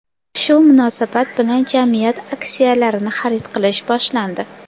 Shu munosabat bilan jamiyat aksiyalarini xarid qilish boshlandi.